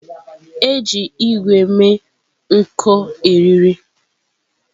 Eji ígwè mee nko eriri.